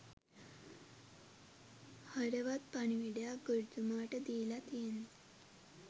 හරවත් පණිවිඩයක් ගුරුතුමාට දීල තියෙන්නෙ